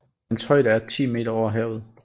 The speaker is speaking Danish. Dens højde er 10 meter over havet